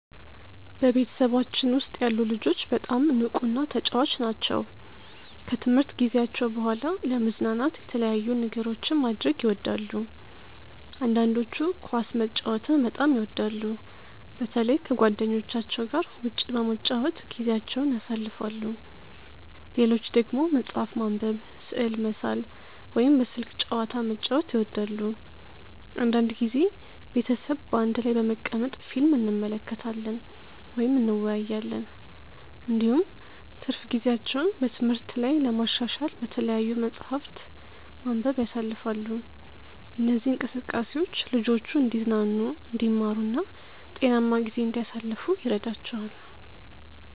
በቤተሰባችን ውስጥ ያሉ ልጆች በጣም ንቁና ተጫዋች ናቸው። ከትምህርት ጊዜያቸው በኋላ ለመዝናናት የተለያዩ ነገሮችን ማድረግ ይወዳሉ። አንዳንዶቹ ኳስ መጫወትን በጣም ይወዳሉ፣ በተለይ ከጓደኞቻቸው ጋር ውጭ በመጫወት ጊዜያቸውን ያሳልፋሉ። ሌሎች ደግሞ መጽሐፍ ማንበብ፣ ስዕል መሳል ወይም በስልክ ጨዋታ መጫወት ይወዳሉ። አንዳንድ ጊዜ ቤተሰብ በአንድ ላይ በመቀመጥ ፊልም እንመለከታለን ወይም እንወያያለን። እንዲሁም ትርፍ ጊዜያቸውን በትምህርት ላይ ለማሻሻል በተለያዩ መጻሕፍት ማንበብ ያሳልፋሉ። እነዚህ እንቅስቃሴዎች ልጆቹ እንዲዝናኑ፣ እንዲማሩ እና ጤናማ ጊዜ እንዲያሳልፉ ይረዳቸዋል።